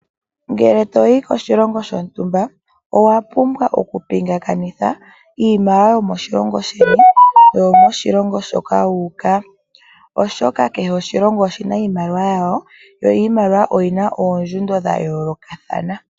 Ngele to yi ko shilongo shontumba, owa pumbwa oku pungakanitha, iimaliwa yomoshilongo sheni naambyoka yomoshongo shoka wuuka, oshoka kehe oshilongo oshina iimaliwa yasho, yo iimaliwa oyina oondjundo dha yoolokathana.